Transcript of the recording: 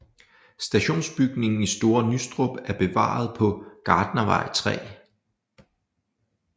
Stationsbygningen i Store Nustrup er bevaret på Gartnervej 3